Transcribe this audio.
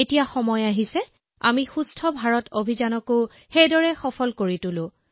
এতিয়া সময় হৈছে যে আমি সুস্থ ভাৰত অভিযানকো একেদৰেই সফল কৰি তুলিব